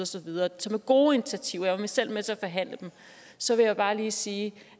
så videre som er gode initiativer jeg var selv med til at forhandle dem så vil jeg bare lige sige